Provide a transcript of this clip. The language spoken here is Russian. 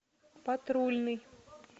патрульный